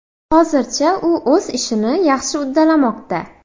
Hozircha u o‘z ishini yaxshi uddalamoqda.